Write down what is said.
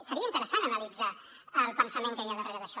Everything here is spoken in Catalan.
seria interessant analitzar el pensament que hi ha darrere d’això